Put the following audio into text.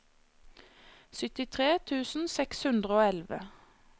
syttitre tusen seks hundre og elleve